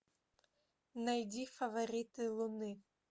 найди фавориты луны